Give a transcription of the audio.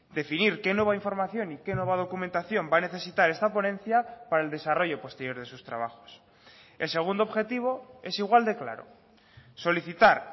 definir qué nueva información y que nueva documentación va a necesitar esta ponencia para el desarrollo posterior de sus trabajos el segundo objetivo es igual de claro solicitar